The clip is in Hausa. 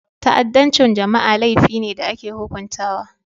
Ta'addancin jama'a laifi ne da ake hukuntawa.